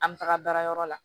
An bɛ taga baarayɔrɔ la